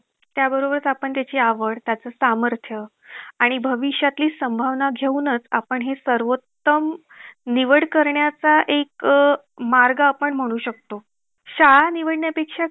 अच्छा आह एका गोष्टी बदल संदर्भात phone केला होता. मला ताईचा phone आलेला होता अं आज सकाळ ला.